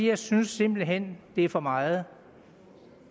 jeg synes simpelt hen det er for meget